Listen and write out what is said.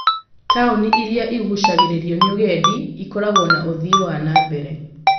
Taũni iria iguucagĩrĩrio nĩ ũgendi ikoragwo na ũthii wa na mbere.